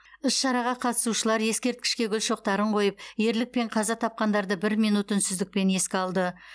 іс шараға қатысушылар ескерткішке гүл шоқтарын қойып ерлікпен қаза тапқандарды бір минут үнсіздікпен еске алды